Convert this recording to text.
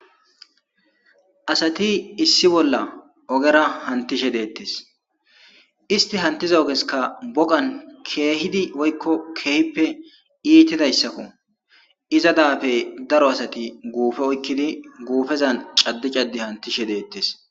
Asati issi bolla ogera hanttisbe deettees. Istti hanttiza ogezaskka bogan keehidi woykko keehippe iitidayssako. Iza daafe daro asati guufe oykkidi guufezan caddi caddi hanttishe deettees.